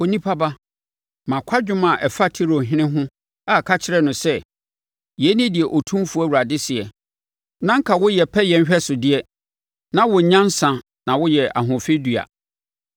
“Onipa ba, ma kwadwom a ɛfa Tirohene ho a ka kyerɛ no sɛ: ‘Yei ne deɛ Otumfoɔ Awurade seɛ: “ ‘Na anka woyɛ pɛyɛ nhwɛsodeɛ, na wowɔ nyansa na woyɛ ahoɔfɛ dua.